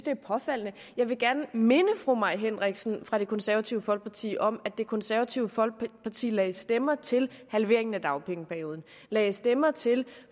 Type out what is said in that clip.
er påfaldende jeg vil gerne minde fru mai henriksen fra det konservative folkeparti om at det konservative folkeparti lagde stemmer til halveringen af dagpengeperioden og lagde stemmer til